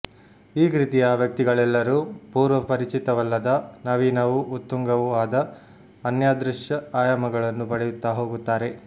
ಈ ಕೃತಿಯ ವ್ಯಕ್ತಿಗಳೆಲ್ಲರೂ ಪೂರ್ವಪರಿಚಿತವಲ್ಲದ ನವೀನವೂ ಉತ್ತುಂಗವೂ ಆದ ಅನ್ಯಾದೃಶ ಆಯಾಮಗಳನ್ನು ಪಡೆಯುತ್ತ ಹೋಗುತ್ತಾರೆ